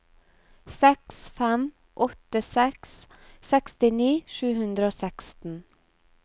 seks fem åtte seks sekstini sju hundre og seksten